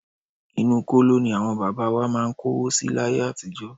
Inú kóló ní àwọn bàbá wa máà ń kówó si láyé àtijọ́.